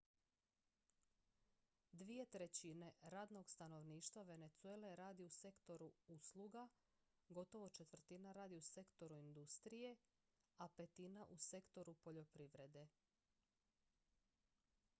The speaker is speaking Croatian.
dvije trećine radnog stanovništva venezuele radi u sektoru usluga gotovo četvrtina radi u sektoru industrije a petina u sektoru poljoprivrede